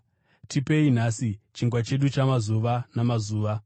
Tipei nhasi chingwa chedu chamazuva namazuva.